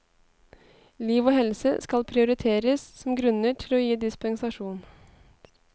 Liv og helse skal prioriteres som grunner til å gi dispensasjon.